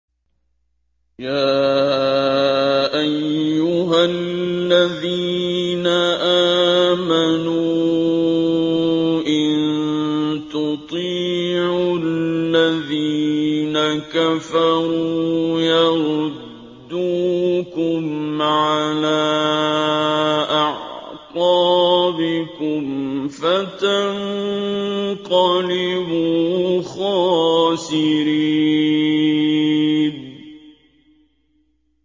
يَا أَيُّهَا الَّذِينَ آمَنُوا إِن تُطِيعُوا الَّذِينَ كَفَرُوا يَرُدُّوكُمْ عَلَىٰ أَعْقَابِكُمْ فَتَنقَلِبُوا خَاسِرِينَ